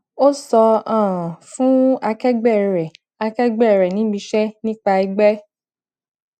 ó so um fun akẹgbé rè akẹgbé rè nibise nipa egbe